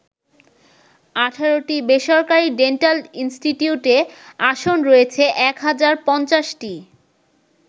১৮টি বেসরকারি ডেন্টাল ইনস্টিটিউটে আসন রয়েছে এক হাজার ৫০টি।